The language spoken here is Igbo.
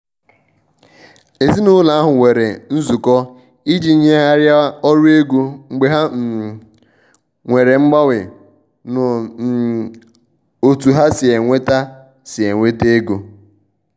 um èzìnàụlọ ahụ nwere nzụkọ iji nyèghariá ọrụ ego mgbe ha um nwere mganwe n' um ọ̀tu ha si enweta si enweta ègò.